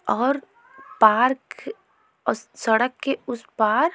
और पार्क सड़क के उस पार ।